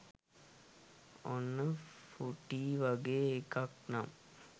ඔන්න ෆූටි වගේ එකක් නම්